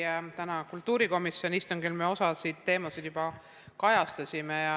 Tõesti, täna kultuurikomisjoni istungil me osa teemasid juba kajastasime.